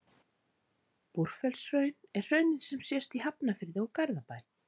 Búrfellshraun er hraunið sem sést í Hafnarfirði og Garðabæ.